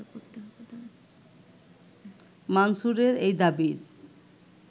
মানসুরের এই দাবির